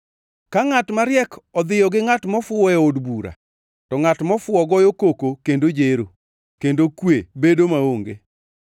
Ka ngʼat mariek odhiyo gi ngʼat mofuwo e od bura, to ngʼat mofuwo goyo koko kendo jero, kendo kwe bedo maonge.